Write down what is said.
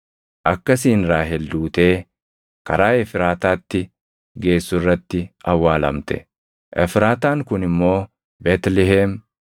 Akkasiin Raahel duutee karaa Efraataatti geessu irratti awwaalamte; Efraataan kun immoo Beetlihem.